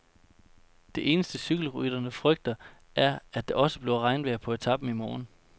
Det eneste, cykelrytteren frygter, er, at det også bliver regnvejr på etapen i morgen.